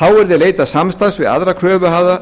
þá yrði leitað samstarfs við aðra kröfuhafa